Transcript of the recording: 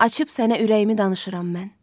Açıb sənə ürəyimi danışıram mən.